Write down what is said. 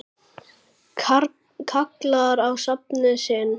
kallar á nafna sinn